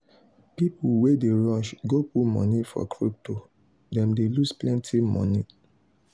people wey dey rush go put money for crypto them dey loose plenty money.